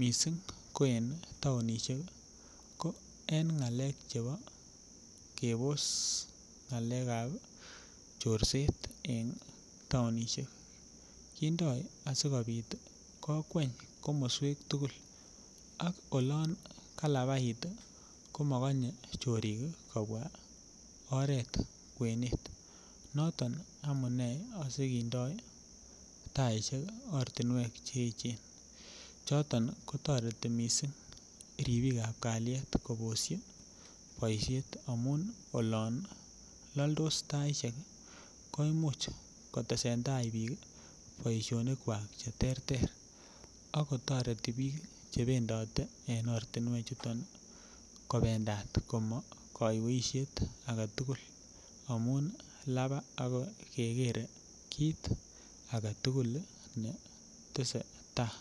missing ko en taonishek ko en ng'alek chebo kebos ng'alekab chorset en taonishek, kindoo asikobit kokweny komoswek tugul si olak kalabait ii komokonye kchorik kobwa oret kwenet noton amune asikindoo tait ortinwek che echen choton kotoreti missing ripikab kaliet koboshi boisiet amun olon laltos taisiek ko imuch kotesen taai biik boisionikwak cheterter ako toreti biik chebendote en ortinwechuton kobendat komokoiweishet agetugul amun labaa akeker kit agetugul netesei tai.